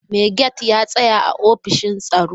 Mai gate ya tsaya a ofishin tsaro.